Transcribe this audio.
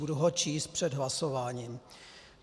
Budu ho číst před hlasováním.